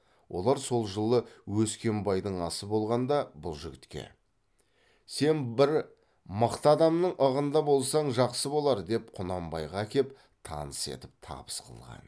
олар сол жылы өскембайдың асы болғанда бұл жігітке сен бір мықты адамның ығында болсаң жақсы болар деп құнанбайға әкеп таныс етіп табыс қылған